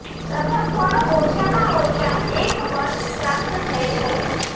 પ્રથમ ફળો ઓછામાં ઓછા એક વર્ષ પ્રાપ્ત થઈ છે